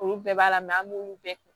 Olu bɛɛ b'a la an b'olu bɛɛ kɛ